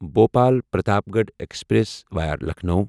Bhopal Pratapgarh express via Lucknow